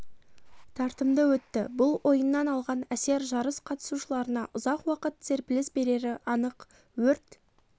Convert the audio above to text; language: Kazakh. тартымды өтті бұл ойыннан алған әсер жарыс қатысушыларына ұзақ уақыт серпіліс берері анық өрт